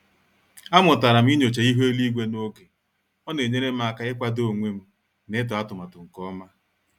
A mụtara m ịnyocha ịhu eluigwe n'oge, ọ na-enyere m aka ị kwado onwem na ịtụ atụmatụ nke ọma.